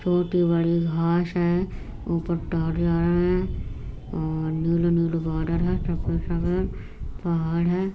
छोटी-बड़ी घास है ऊपर आ रही है और नीले-नीले बॉर्डर हैं पहाड़ हैं।